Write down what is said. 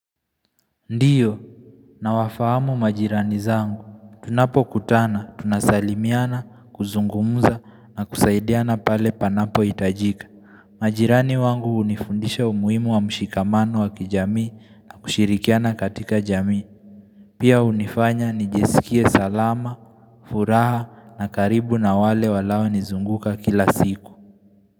Ndiyo, nawafahamu majirani zangu. Tunapokutana, tunasalimiana, kuzungumza na kusaidiana pale panapohitajika. Majirani wangu hunifundisha umuhimu wa mshikamano wa kijami na kushirikiana katika jami. Pia hunifanya nijisikie salama, furaha na karibu na wale wanao nizunguka kila siku.